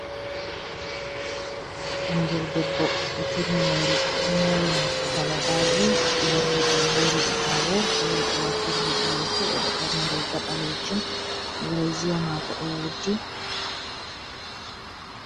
Ɓingel debbo ɗo turni hore, o ɗo mori morɗi kalabaaji. O morli ɗi o hori ɗi ɓaawo, fere o wartiri hedi yeso. O ɗo ɓorni riiga ɓaleejum, brezia maako ɗo wurti.